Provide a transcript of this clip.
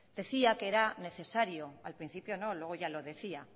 decía que era necesario al principio no luego ya lo decía